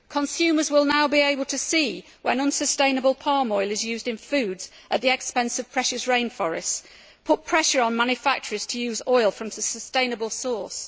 Consumers will now be able to see when unsustainable palm oil is used in foods at the expense of precious rainforests and to put pressure on manufacturers to use oil from a sustainable source.